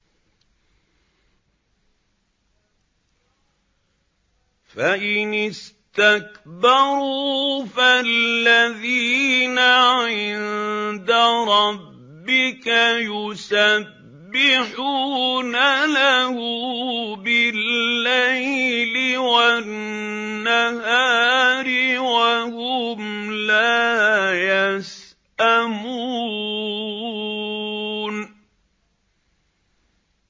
فَإِنِ اسْتَكْبَرُوا فَالَّذِينَ عِندَ رَبِّكَ يُسَبِّحُونَ لَهُ بِاللَّيْلِ وَالنَّهَارِ وَهُمْ لَا يَسْأَمُونَ ۩